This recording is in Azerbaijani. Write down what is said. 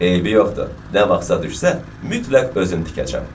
Eybi yoxdur, nə vaxtsa düşsə, mütləq özüm tikəcəm.